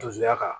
Dusuya ka